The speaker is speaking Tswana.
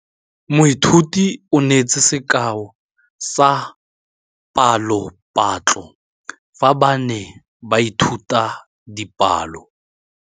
Moithuti o neetse sekaô sa palophatlo fa ba ne ba ithuta dipalo.